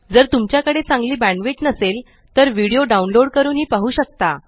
जर तुमच्याकडे चांगली बॅण्डविड्थ नसेल तर व्हिडीओ डाउनलोड करूनही पाहू शकता